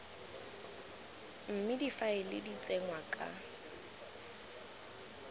mme difaele di tsenngwa ka